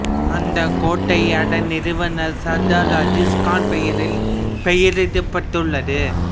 அந்தக் கோட்டை அதன் நிறுவனர் சர்தார் அஜீஸ் கான் பெயரால் பெயரிடப்பட்டுள்ளது